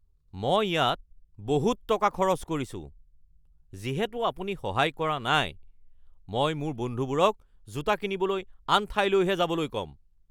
মই ইয়াত বহুত টকা খৰচ কৰিছো। যিহেতু আপুনি সহায় কৰা নাই, মই মোৰ বন্ধুবোৰক জোতা কিনিবলৈ আন ঠাইলৈহে যাবলৈ ক'ম (গ্ৰাহক)